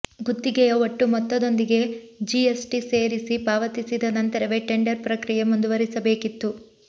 ಗುತ್ತಿಗೆಯ ಒಟ್ಟು ಮೊತ್ತದೊಂದಿಗೆ GST ಸೇರಿಸಿ ಪಾವತಿಸಿದ ನಂತರವೇ ಟೆಂಡರ್ ಪ್ರಕ್ರಿಯೆ ಮುಂದುವರಿಸಬೇಕಿತ್ತು